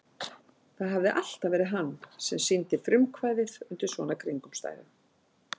Það hafði alltaf verið hann sem sýndi frumkvæðið undir svona kringumstæðum.